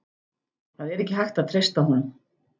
Það er ekki hægt að treysta honum.